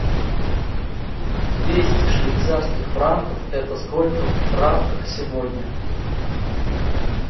двести швейцарских франков это сколько в франках сегодня